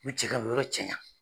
yɔrɔ cɛnna.